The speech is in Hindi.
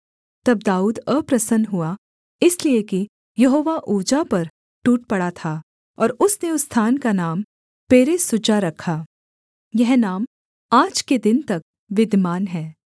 तब दाऊद अप्रसन्न हुआ इसलिए कि यहोवा उज्जा पर टूट पड़ा था और उसने उस स्थान का नाम पेरेसुज्जा रखा यह नाम आज के दिन तक विद्यमान है